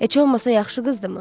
Heç olmasa yaxşı qızdımı?